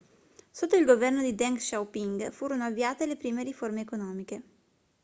sotto il governo di deng xiaoping furono avviate le prime riforme economiche